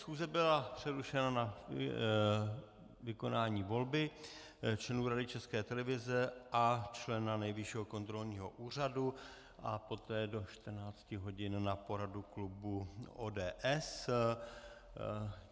Schůze byla přerušena na vykonání volby členů Rady České televize a člena Nejvyššího kontrolního úřadu, a poté do 14 hodin na poradu klubu ODS.